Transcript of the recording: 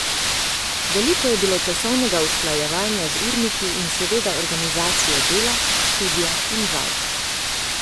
Veliko je bilo časovnega usklajevanja z urniki in seveda organizacije dela, študija in vaj.